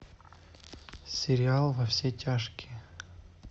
сериал во все тяжкие